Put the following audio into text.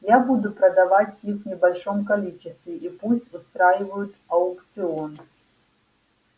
я буду продавать их в небольшом количестве и пусть устраивают аукцион